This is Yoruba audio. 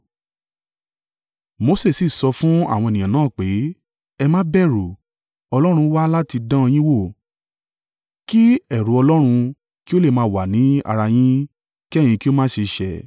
Mose sì sọ fún àwọn ènìyàn náà pé, “Ẹ má bẹ̀rù. Ọlọ́run wá láti dán an yín wò, kí ẹ̀rù Ọlọ́run kí ó lè máa wà ní ara yín, kí ẹ̀yin kí ó má ṣe ṣẹ̀.”